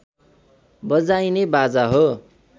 बजाइने बाजा हो